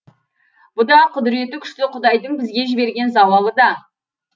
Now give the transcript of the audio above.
бұ да құдіреті күшті құдайдың бізге жіберген зауалы да